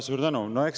Suur tänu!